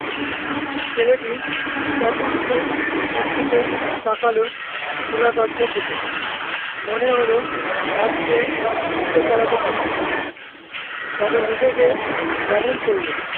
ছেলেটি সতৃষ্ণ দৃষ্টিতে তাকালো খোলা দরজার দিকে মনে হলো তার সে ছুটে পালাতে পারে তবে নিজেকে দমন করলো